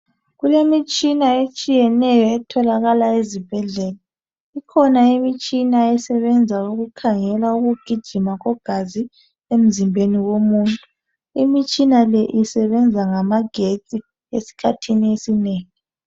Kulemitshina etshiyeneyo etholakala ezibhedlela ikhona imitshina esebenza ukukhangela ukugijima kwegazi emzimbeni womuntu ,imitshina le isebenza ngamagetsi esikhathini esinengi